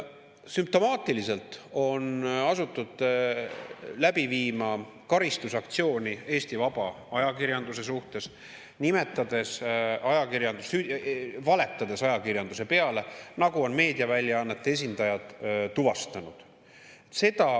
Sümptomaatiliselt on asutud läbi viima karistusaktsiooni Eesti vaba ajakirjanduse suhtes, süüdistades ajakirjandust ja valetades ajakirjanduse peale, nagu on meediaväljaannete esindajad tuvastanud.